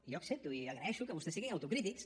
jo accepto i agraeixo que vostès siguin autocrítics